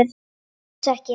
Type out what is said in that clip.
Ég næ þessu ekki.